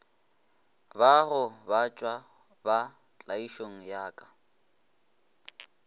bagobatšwa ba tlaišo ya ka